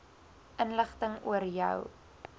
inligting oor jou